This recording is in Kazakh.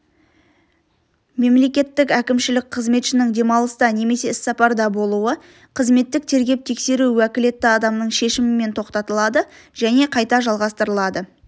мемлекеттік әкімшілік қызметшінің демалыста немесе іссапарда болуы қызметтік тергеп-тексеру уәкілетті адамның шешімімен тоқтатылады және қайта жалғастырылады